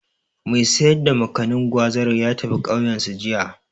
Mai sayar da Makanin/Gwazar ya tafi ƙauyensu, jiya.